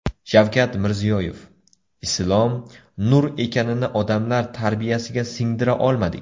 Shavkat Mirziyoyev: Islom - nur ekanini odamlar tarbiyasiga singdira olmadik.